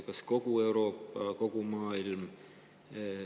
Kas kogu Euroopa?